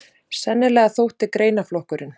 Sennilega þótti greinaflokkurinn